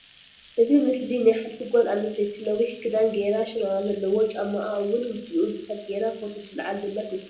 እዚ ምስሊ ናይ ሓንቲ ጋል ኣንስተይቲ ነዊሕ ክዳን ገራ ሽራራ ዘለዎ ጫማኣ ኣዉን ምስኡ ዝክድ ጌራ ፎቶ ትለዓል ዘላ ትምል ።